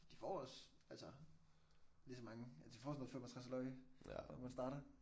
De får også altså lige så mange ja de får sådan noget 65 løg når man starter